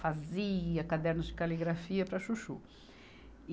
Fazia cadernos de caligrafia para chuchu.